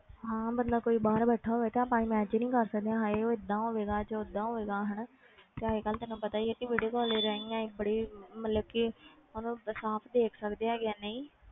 ਹਾਂ ਬੰਦਾ ਕੋਈ ਬਾਹਰ ਬੈਠਾ ਹੋਵੇ ਤੇ ਆਪਾਂ imagine ਹੀ ਕਰ ਸਕਦੇ ਹਾਂ ਹਾਏ ਉਹ ਏਦਾਂ ਹੋਵੇਗਾ ਜਾਂ ਓਦਾਂ ਹੋਵੇਗਾ ਹਨਾ ਤੇ ਅੱਜ ਕੱਲ੍ਹ ਤੈਨੂੰ ਪਤਾ ਹੀ ਹੈ ਕਿ video call ਦੇ ਰਾਹੀਂ ਅਸੀਂ ਬੜੀ ਮਤਲਬ ਕਿ ਉਹਨੂੰ ਸਾਫ਼ ਦੇਖ ਸਕਦੇ ਹੈਗੇ ਆ, ਨਹੀਂ